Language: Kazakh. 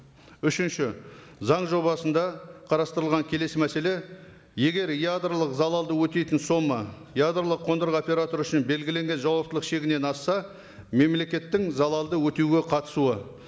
үшінші заң жобасында қарастырылған келесі мәселе егер ядролық залалды өтейтін сома ядролық қондырғы операторы үшін белгіленген жауаптылық шегінен асса мемлекеттің залалды өтеуге қатысуы